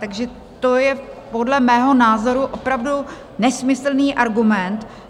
Takže to je podle mého názoru opravdu nesmyslný argument.